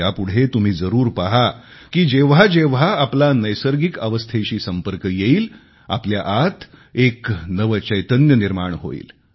यापुढे तुम्ही जरूर पहा की जेव्हा जेव्हा आपला नैसर्गिक अवस्थेशी संपर्क येईल आपल्या आत एक नवे चैतन्य निर्माण होईल